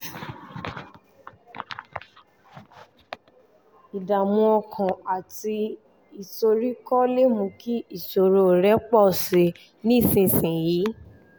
ìdààmú ọkàn àti ìsoríkọ́ lè mú kí ìṣòro rẹ pọ̀ sí i nísinsìnyí